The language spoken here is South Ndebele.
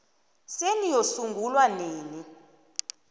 senu yasungulwa nini